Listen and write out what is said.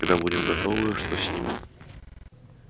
когда будем готовы что с ними